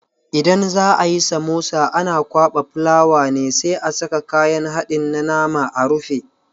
Idan za ayi samosa ana kwaɓa fulawa ne sai a saka kayan haɗin na nama a rufe.